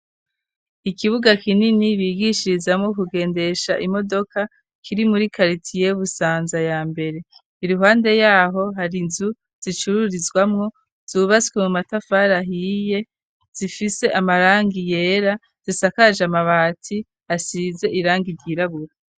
Ikibuga kinini bigishirizamwo kugendesha imodoka, kiri muri kalitiye Busanza ya mbere, iruhande yaho hari inzu zicururizwamwo zubatswe mu matafari ahiye zifise amarangi yera, zisakaje amabati asize irangi ryirabura.